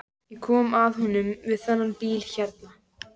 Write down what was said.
Ég kom að honum við þennan bíl hérna.